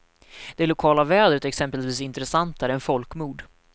Det lokala vädret är exempelvis intressantare än folkmord.